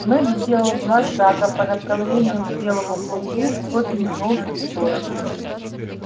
мэтт сделал два шага по направлению к белому клыку тот метнулся в сторону